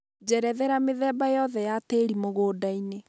njerethera mĩthemba yothe ya tĩri mũgũnda-inĩ